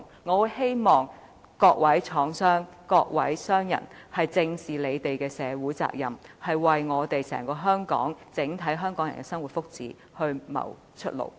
我希望各位廠商、各位商人正視他們的社會責任，為所有香港人的生活和福祉謀出路。